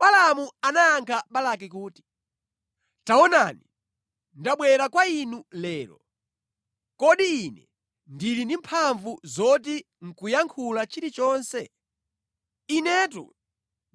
Balaamu anayankha Balaki kuti, “Taonani, ndabwera kwa inu lero, kodi ine ndili ndi mphamvu zoti nʼkuyankhula chilichonse? Inetu